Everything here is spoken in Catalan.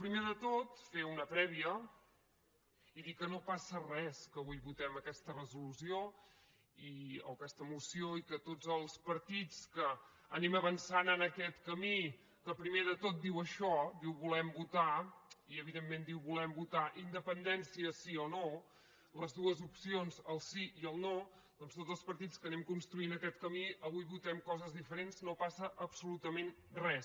primer de tot fer una prèvia i dir que no passa res que avui votem aquesta resolució o aquesta moció i que tots els partits que anem avançant en aquest camí que primer de tot diu això diu volem votar i evidentment diu volem votar independència sí o no les dues opcions el sí i el no doncs tots els partits que anem construint aquest camí avui votem coses diferents no passa absolutament res